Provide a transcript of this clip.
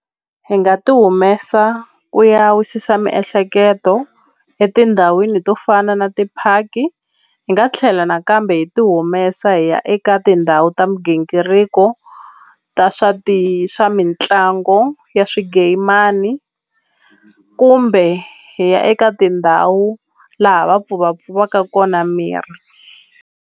Hi nga ti humesa ku ya wisisa miehleketo etindhawini to fana na ti-park-i hi nga tlhela nakambe hi ti humesa hi ya eka tindhawu ta migingiriko ta swa ti swa mitlango ya swigemani kumbe hi ya eka tindhawu laha va pfuvapfuvaka kona miri.